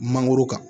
Mangoro kan